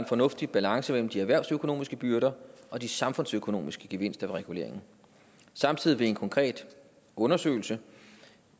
fornuftig balance mellem de erhvervsøkonomiske byrder og de samfundsøkonomiske gevinster ved reguleringen samtidig vil en konkret undersøgelse